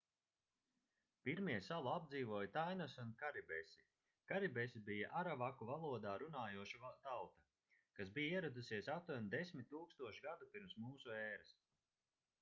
pirmie salu apdzīvoja tainosi un karibesi karibesi bija aravaku valodā runājoša tauta kas bija ieradusies aptuveni 10 000 gadu pirms mūsu ēras